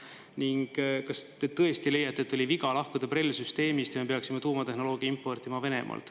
Ning kas te tõesti leiate, et oli viga lahkuda BRELL-süsteemist ja me peaksime tuumatehnoloogia importima Venemaalt?